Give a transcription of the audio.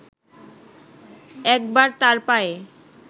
একবার তার পায়ে